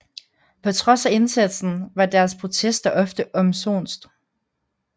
På trods af indsatsen var deres protester ofte omsonst